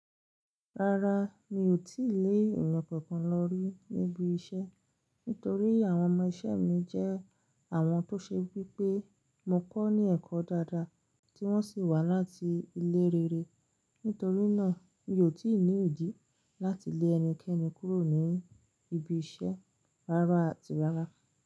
Rárá, mi ò tí lè ènìyàn kankan lọ rí níbi iṣẹ́ nítorí àwọn ọmọ iṣẹ́ mi jẹ́ àwọn tó ṣe wí pé mo kọ́ ní ẹ̀kọ́ dáadáa tí wọ́n sì wá láti ilé rere. Nítorí náà, mi ò tí ì ní idì láti lé ẹnikẹ́ni kúrò ní ibi iṣẹ́ rárá àti rárá.